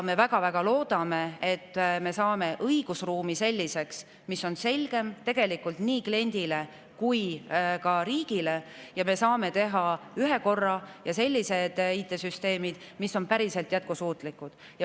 Me väga-väga loodame, et me saame õigusruumi selliseks, et see oleks selgem nii kliendile kui ka riigile, ja me saame teha sellised IT‑süsteemid, mis on päriselt jätkusuutlikud.